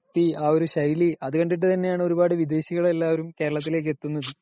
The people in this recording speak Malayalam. ആ ഒരു വൃത്തി .അത് കണ്ടിട്ട് ആണ് ഒരുപാടു വിദേശികള് എല്ലാരും കേരളത്തിലേക്ക് എത്തുന്നത് .